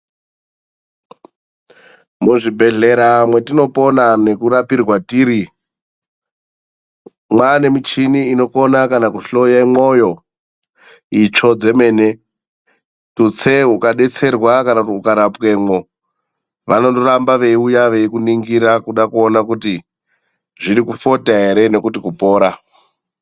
Muzvibhedhlera mwetinopona nekurapirwa tiri, mwaa nemichini inokona kana kuhloye mwoyo, itsvo dzemene tutse ukadetserwa kana kuti ukarapwemwo. Vanondoramba veyiuya veyikuningira kuda kuona kuti zviri kufota here nokuti kupora.